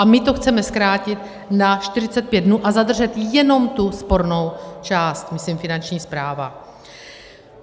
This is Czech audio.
A my to chceme zkrátit na 45 dnů a zadržet jenom tu spornou část, myslím Finanční správa.